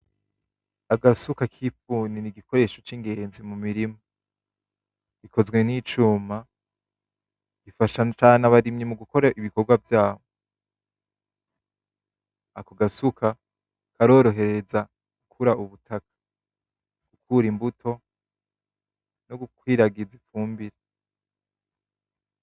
Agasuka k'ifuni n'igikoresho c'ingenzi mu mirima. Gakozwe n'icuma, gafasha cane cane abarimyi mu gukora ibikogwa vyabo. Ako gasuka karorohereza gukura ubutaka, gukura imbuto no gukwiragiza ifumbire.